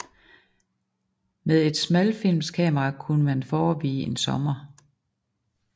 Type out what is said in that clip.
Med et smalfilmskamera kunne man forevige en sommer